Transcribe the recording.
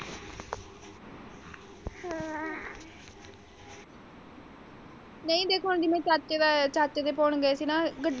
ਨਹੀਂ ਦੇਖੋ ਜਿਵੇਂ ਚਾਚੇ ਦਾ ਚਾਚੇ ਦੇ ਪਾਉਣ ਗਏ ਸੀ ਨਾ ਗੱਡੀ।